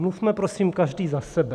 Mluvme, prosím, každý za sebe.